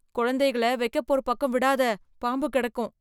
குழந்தைகள வைக்கப் போர் பக்கம் விடாத, பாம்பு கிடக்கும்.